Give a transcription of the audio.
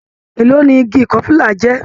Èló ni igi ikofila jẹ́?